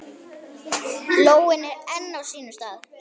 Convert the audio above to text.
Lóin enn á sínum stað.